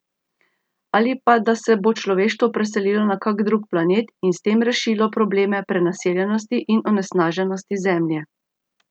Ali pa da se bo človeštvo preselilo na kak drug planet in s tem rešilo probleme prenaseljenosti in onesnaženosti Zemlje.